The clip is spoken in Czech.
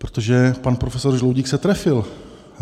Protože pan profesor Žaloudík se trefil.